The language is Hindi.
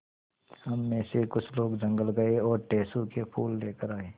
हम मे से कुछ लोग जंगल गये और टेसु के फूल लेकर आये